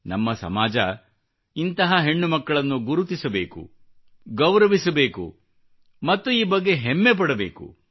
ನಮ್ಮ ಸಮಾಜ ಇಂತಹ ಹೆಣ್ಣುಮಕ್ಕಳನ್ನು ಗುರುತಿಸಬೇಕು ಗೌರವಿಸಬೇಕು ಮತ್ತು ಈ ಬಗ್ಗೆ ಹೆಮ್ಮೆ ಪಡಬೇಕು